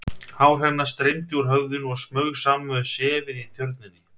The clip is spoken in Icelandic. Hár hennar streymdi úr höfðinu og smaug saman við sefið í Tjörninni.